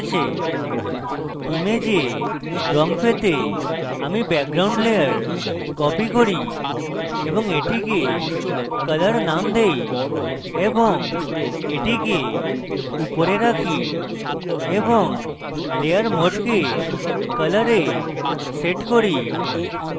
image রঙ পেতে আমি background layer copy করি এবং এটিকে colour name দেই এবং এটিকে উপরে রাখি এবং layer mode colour এ set করি